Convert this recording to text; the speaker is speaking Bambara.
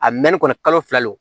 A mɛnni kɔni kalo fila le don